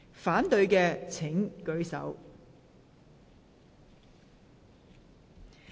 反對的請舉手。